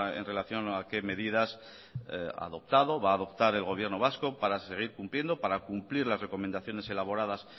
en relación a qué medidas ha adoptado va a adoptar el gobierno vasco para seguir cumpliendo para cumplir las recomendaciones elaboradas